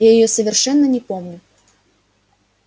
я её совершенно не помню